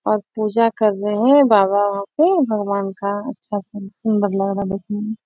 और पूजा कर रहे हैं बाबा वहाँ पे | भगवान का अच्छा से सुंदर लग रहा देखने में ।